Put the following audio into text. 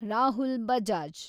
Rahul Bajaj